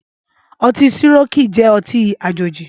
Ọtin Sirọki jẹ̀ ọtin àjéji